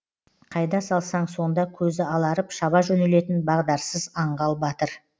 қайда салсаң сонда көзі аларып шаба жөнелетін бағдарсыз аңғал батыр